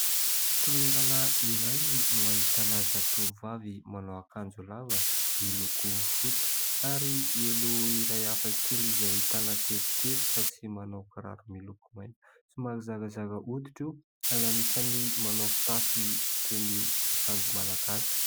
Toerana iray no ahitana zatovo vavy manao akanjo lava miloko fotsy ary elo iray hafakely izay ahitana teboteboka sy manao kiraro miloko mainty, somary zarazara oditra io ary anisany manao fitafy toy ny akanjo Malagasy.